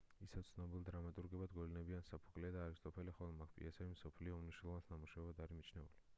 ისევ ცნობილ დრამატურგებად გვევლინებიან სოფოკლე და არისტოფანე ხოლო მათი პიესები კი მსოფლიო ლიტერატურის უმნიშვნელოვანეს ნამუშევრებად არის მიჩნეული